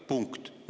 " Punkt.